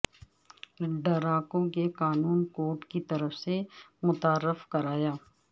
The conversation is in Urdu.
ڈراکو کے قانون کوڈ کی طرف سے متعارف کرایا